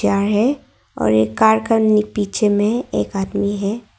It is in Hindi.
है और एक कार का नी पीछे में एक आदमी है।